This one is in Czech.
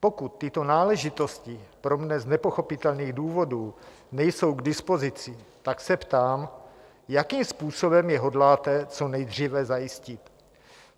Pokud tyto náležitosti pro mne z nepochopitelných důvodů nejsou k dispozici, tak se ptám, jakým způsobem je hodláte co nejdříve zajistit.